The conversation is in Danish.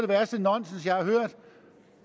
værste nonsens jeg har hørt